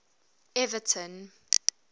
everton